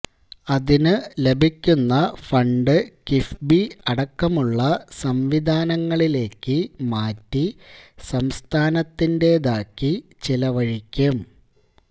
അതിനു ലഭിക്കുന്ന ഫണ്ട് കിഫ്ബി അടക്കമുള്ള സംവിധാനങ്ങളിലേക്ക് മാറ്റി സംസ്ഥാനത്തിന്റേതാക്കി ചെലവഴിക്കും